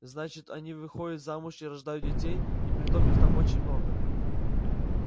значит они выходят замуж и рождают детей и притом их там очень много